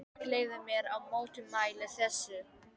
En ég leyfi mér að mótmæla þessu.